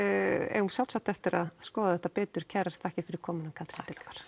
eigum sjálfsagt eftir að skoða þetta betur kærar þakkir Katrín